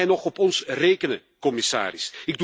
Kan hij nog op ons rekenen, commissaris?